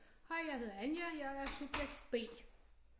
Hej jeg hedder Anja jeg er subjekt B